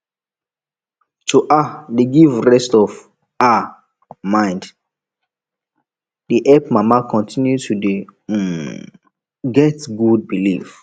to um dey help give rest of um mind dey help mama continue to dey um get good belief